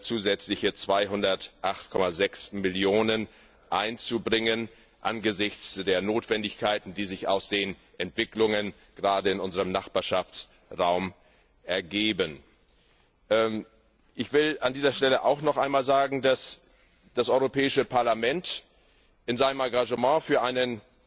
zusätzliche 208,6 Millionen einzubringen angesichts der Notwendigkeiten, die sich aus den Entwicklungen gerade in unserem Nachbarschaftsraum ergeben. Ich will an dieser Stelle noch einmal sagen, dass das Europäische Parlament es in seinem Engagement für einen